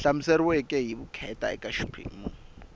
hlamuseriweke hi vukheta eka xiphemu